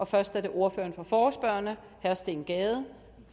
først er det ordføreren for forespørgerne herre steen gade